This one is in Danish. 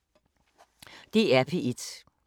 DR P1